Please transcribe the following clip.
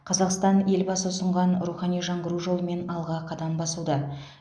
қазақстан елбасы ұсынған рухани жаңғыру жолымен алға қадам басуда